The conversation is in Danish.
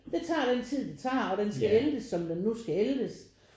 Det tager den tid det tager og den skal æltes som den nu skal æltes